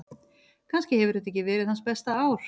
Kannski hefur þetta ekki verið hans besta ár.